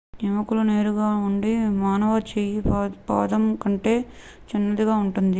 ఎముకలు నేరుగా ఉండి మానవ చెయ్యి పాదం కంటే చిన్నదిగా ఉంటుంది